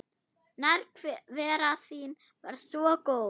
Nærvera þín var svo góð.